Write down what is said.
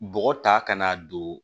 Bɔgɔ ta kana don